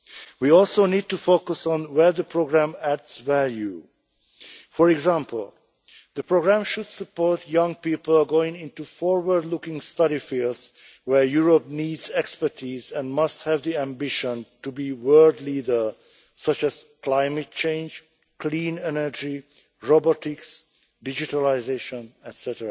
We also need to focus on where the programme adds value. For example, the programme should support young people going into forward-looking study fields where Europe needs expertise and must have the ambition to be a world leader, such as climate change, clean energy, robotics, digitalisation, etc.